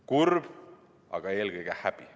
Kurb, aga eelkõige häbi.